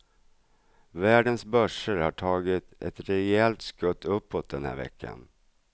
Världens börser har tagit ett rejält skutt uppåt den här veckan.